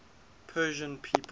persian people